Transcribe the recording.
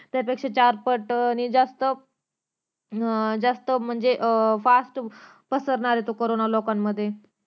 त्यापेक्षा चार पटने जास्त अं जास्त म्हणजे अं fast पसरणार ये तो करोना लोकांमध्ये